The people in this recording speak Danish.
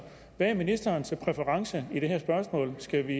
hvad er ministerens præference i det her spørgsmål skal vi